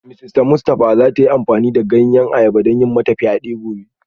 Mrs Mustafa za ta yi amfani da ganyen ayaba don yi mata fyade gobe